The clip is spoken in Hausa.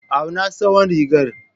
Auna tsawon rigar.